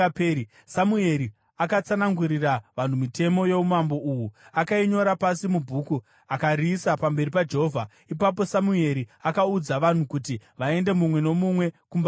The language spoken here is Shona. Samueri akatsanangurira vanhu mitemo youmambo uhu. Akainyora pasi mubhuku akariisa pamberi paJehovha. Ipapo Samueri akaudza vanhu kuti vaende mumwe nomumwe kumba kwake.